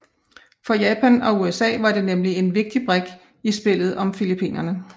For Japan og USA var det nemlig en vigtig brik i spillet om Filippinerne